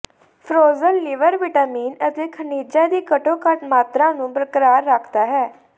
Frozen liver vitamin ਅਤੇ ਖਣਿਜਾਂ ਦੀ ਘੱਟੋ ਘੱਟ ਮਾਤਰਾ ਨੂੰ ਬਰਕਰਾਰ ਰੱਖਦਾ ਹੈ